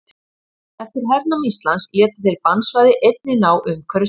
eftir hernám íslands létu þeir bannsvæði einnig ná umhverfis það